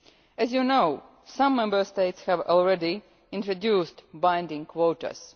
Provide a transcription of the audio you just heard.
As you know, some Member States have already introduced binding quotas.